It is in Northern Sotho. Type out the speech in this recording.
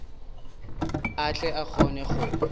a tle a kgone go